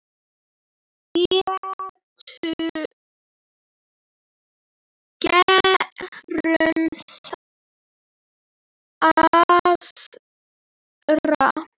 Gerum aðra.